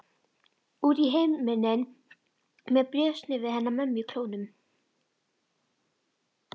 Út í himininn með bréfsnifsið hennar mömmu í klónum.